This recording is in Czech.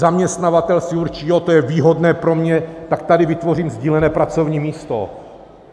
Zaměstnavatel si určí, jo, to je výhodné pro mě, tak tady vytvořím sdílené pracovní místo.